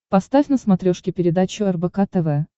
поставь на смотрешке передачу рбк тв